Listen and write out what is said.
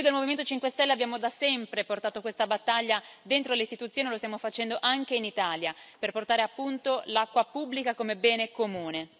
Noi del Movimento 5 Stelle abbiamo da sempre portato questa battaglia dentro le istituzioni, lo stiamo facendo anche in Italia per promuovere l'acqua pubblica come bene comune.